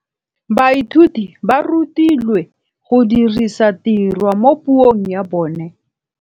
Baithuti ba rutilwe go dirisa tirwa mo puong ya bone.